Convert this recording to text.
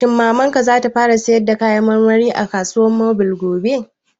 Shin Mamar ka za ta fara sayar da kayan marmari a kasuwar mobil gobe?